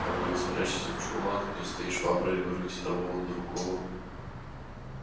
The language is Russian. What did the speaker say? а вы их спрячете в чулан где стоит швабры и вырвете того у другого